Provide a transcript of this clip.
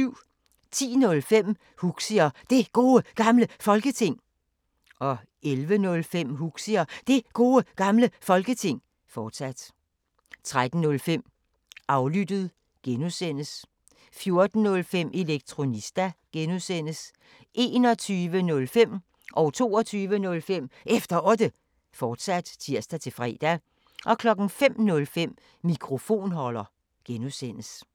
10:05: Huxi og Det Gode Gamle Folketing 11:05: Huxi og Det Gode Gamle Folketing, fortsat 13:05: Aflyttet G) 14:05: Elektronista (G) 21:05: Efter Otte, fortsat (tir-fre) 22:05: Efter Otte, fortsat (tir-fre) 05:05: Mikrofonholder (G)